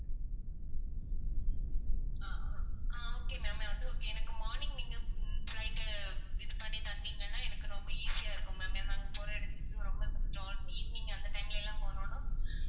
அஹ் okay ma'am அது okay எனக்கு morning நீங்க flight இது பண்ணித் தந்தீங்கன்னா எனக்கு ரொம்ப easy யா இருக்கும் ma'am ஏன்னா நாங்க போற இடத்துக்கு ரொம்ப evening அந்த time ல எல்லாம் போணோம்னா